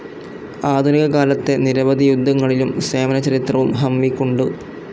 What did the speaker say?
ആധുനിക കാലത്തെ നിരവധി യുദ്ധങ്ങളിലെ സേവന ചരിത്രവും ഹംവിക്കുണ്ട്.